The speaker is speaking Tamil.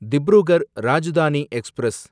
திப்ருகர் ராஜ்தானி எக்ஸ்பிரஸ்